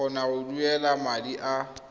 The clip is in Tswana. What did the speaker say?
kgona go duela madi a